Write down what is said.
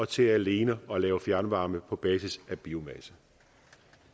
til alene at lave fjernvarme på basis af biomasse og